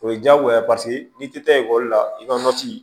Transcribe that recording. O ye diyagoya ye paseke n'i tɛ taa ekɔli la i ka